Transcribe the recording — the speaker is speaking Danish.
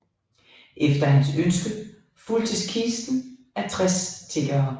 Efter hans ønske fulgtes kisten af 60 tiggere